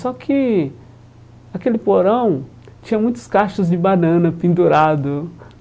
Só que aquele porão tinha muitos cachos de banana pendurado.